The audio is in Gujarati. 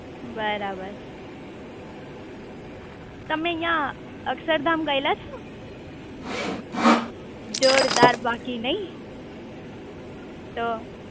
બરાબર તમે અહીંયા અક્ષરધામ ગયેલા છો જોરદાર બાકી નઈ તો